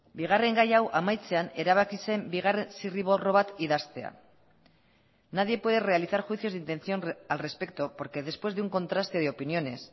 bigarren gai hau amaitzean erabaki zen bigarren zirriborro bat idaztea nadie puede realizar juicios de intención al respecto porque después de un contraste de opiniones